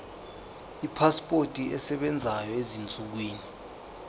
ipasipoti esebenzayo ezinsukwini